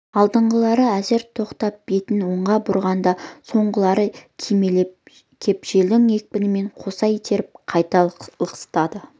алдыңғылары әзер тоқтап бетін оңға бұрғанда соңғылары кимелеп кеп желдің екпінімен қоса итеріп қайта лықсытады